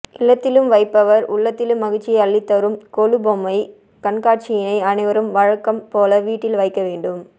இல்லத்திலும் வைப்பவர் உள்ளத்திலும் மகிழ்ச்சியை அள்ளித்தரும் கொலு பொம்மை கண்காட்சியினை அனைவரும் வழக்கம் போல வீட்டில் வைக்க வேண்டும்